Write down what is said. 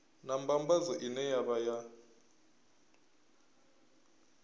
na mbambadzo ine ya vha